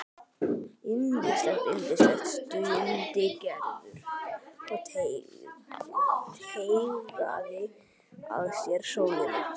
Yndislegt, yndislegt stundi Gerður og teygaði að sér sólina.